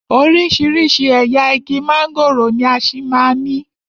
Oríṣiríṣi ẹ̀yà igi mángòrò ni a ṣì máa ní.